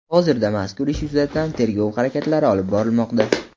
Hozirda mazkur ish yuzasidan tergov harakatlari olib borilmoqda.